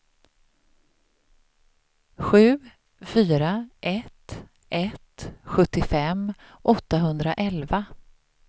sju fyra ett ett sjuttiofem åttahundraelva